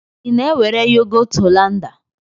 Ị na-ewere yogọt Hollanda?